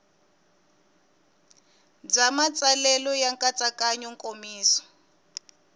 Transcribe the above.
bya matsalelo ya nkatsakanyo nkomiso